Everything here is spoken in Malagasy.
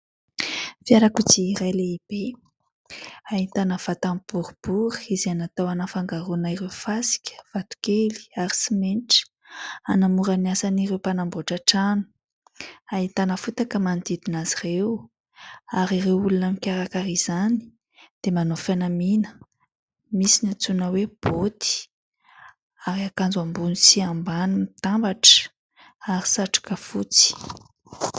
Fiarakodia iray lehibe ahitana vatany boribory izay natao anafangaroana ireo fasika, vatokely ary simenitra ; hanamora ny asan'ireo mpanamboatra trano. Ahitana fotaka manodidina azy ireo, ary ireo olona mikarakara izany dia manao fanamiana : misy ny antsoina hoe baoty ary akanjo ambony sy ambany mitambatra, ary satroka fotsy.